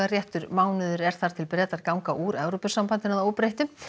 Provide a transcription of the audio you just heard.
réttur mánuður er þar til Bretar ganga úr Evrópusambandinu að óbreyttu